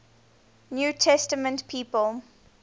new testament people